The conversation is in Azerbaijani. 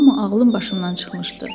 Amma ağlım başımdan çıxmışdı.